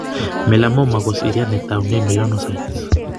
Melamoma ko seriat netoune melanocytes.